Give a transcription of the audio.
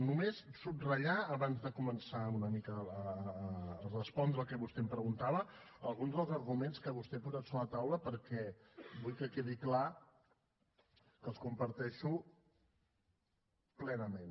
només subratllar abans de començar una mica a respondre el que vostè em preguntava alguns dels arguments que vostè ha posat sobre la taula perquè vull que quedi clar que els comparteixo plenament